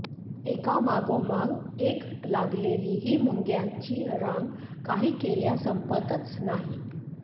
एकामागोमाग एक लागलेली ही मुंग्यांची रांग काही केल्या संपतच नाही